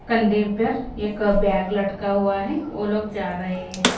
कंधे पर एक बैग लटका हुआ है वो लोग जा रहे हैं।